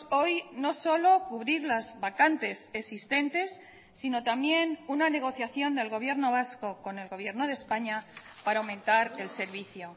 hoy no solo cubrir las vacantes existentes sino también una negociación del gobierno vasco con el gobierno de españa para aumentar el servicio